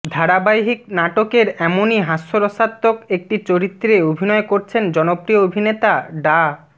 ধারাবাহিক নাটকের এমনই হাস্যরসাত্মক একটি চরিত্রে অভিনয় করছেন জনপ্রিয় অভিনেতা ডা